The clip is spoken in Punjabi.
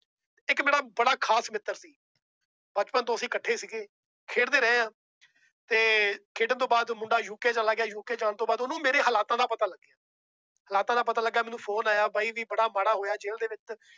ਇੱਕ ਮੇਰਾ ਬੜਾ ਖ਼ਾਸ ਮਿੱਤਰ ਸੀ, ਬਚਪਨ ਤੋਂ ਅਸੀਂ ਇਕੱਠੇ ਸੀਗੇ ਖੇਡਦੇ ਰਹੇ ਹਾਂ ਤੇ ਖੇਡਣ ਤੋਂ ਬਾਅਦ ਮੁੰਡਾ UK ਚਲਾ ਗਿਆ UK ਜਾਣ ਤੋਂ ਬਾਅਦ ਉਹਨੂੰ ਮੇਰੇ ਹਾਲਾਤਾਂ ਦਾ ਪਤਾ ਹਾਲਾਤਾਂ ਦਾ ਪਤਾ ਲੱਗਿਆ ਮੈਨੂੰ phone ਆਇਆ ਬਾਈ ਵੀ ਬੜਾ ਮਾੜਾ ਹੋਇਆ ਜੇਲ ਦੇ ਵਿੱਚ